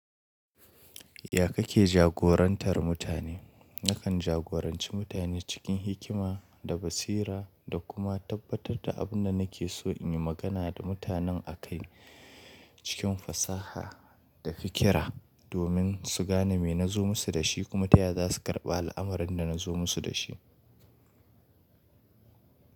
Ya kake jagorantar mutane? Nakan jagoranci mutane cikin hikima da basira da kuma tabbatar da abin da nake so in yi magana da mutanen a kai cikin fasaha da fikira domin su gane me na zo musu da shi kuma taya za su karɓi al’amarin da nazo musu da shi.